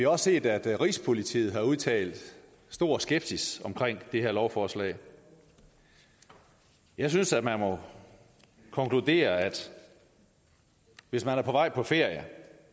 også set at rigspolitiet har udtrykt stor skepsis omkring det her lovforslag jeg synes at man må konkludere at hvis man er på vej på ferie